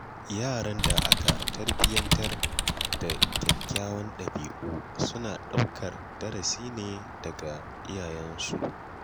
Yaran da aka tarbiyyantar da kyawawan ɗabi’u suna ɗaukar darasi ne daga iyayensu.